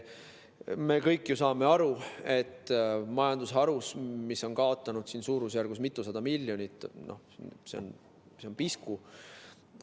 Me kõik ju saame aru, et majandusharule, mis on kaotanud mitusada miljonit, on see pisku.